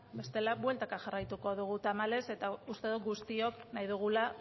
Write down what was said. bestela bueltaka jarraituko dugu tamalez eta uste dut guztiok nahi dugula